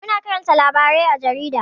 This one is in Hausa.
Muna karanta labarai à jarida.